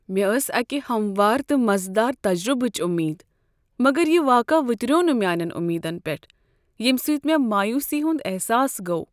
مےٚ ٲس اکہ ہموار تہٕ مزٕ دار تجربچ امید، مگر یہ واقعہٕ وُتریو نہٕ میانین امیدن پیٹھ، ییٚمہ سۭتۍ مےٚ مایوسی ہید احساس گوٚو۔